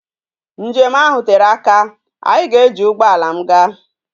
Njem ahu tere aka, anyi ga eji ugboala m gaa